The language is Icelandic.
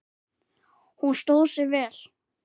Hún stóð sig vel.